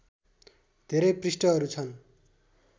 धेरै पृष्ठहरू छन्